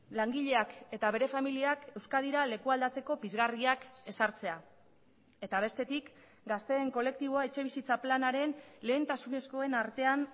langileak eta bere familiak euskadira leku aldatzeko pizgarriak ezartzea eta bestetik gazteen kolektiboa etxebizitza planaren lehentasunezkoen artean